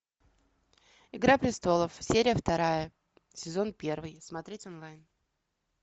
игра престолов серия вторая сезон первый смотреть онлайн